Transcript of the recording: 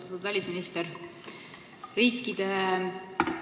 Austatud välisminister!